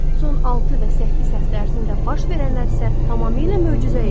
Son altı və səkkiz həftə ərzində baş verənlər isə tamamilə möcüzə idi.